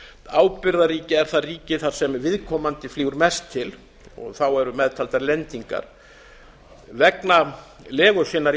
ábyrgðarríki er það ríki sem viðkomandi flýgur mest til þá eru meðtaldar lendingar vegna legu sinnar í